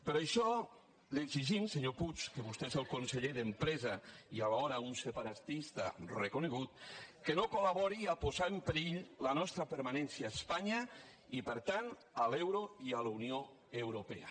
per això li exigim senyor puig que vostè és el conseller d’empresa i alhora un separatista reconegut que no col·labori a posar en perill la nostra permanència a espanya i per tant a l’euro i a la unió europea